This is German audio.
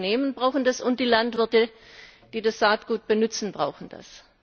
Auch die Unternehmen brauchen das und die Landwirte, die das Saatgut benützen, brauchen das.